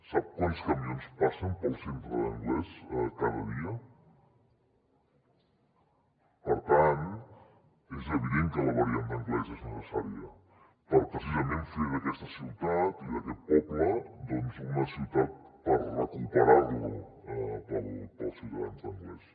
sap quants camions passen pel centre d’anglès cada dia variant d’anglès és necessària per precisament fer d’aquesta ciutat i d’aquest poble una ciutat per recuperar lo per als ciutadans d’anglès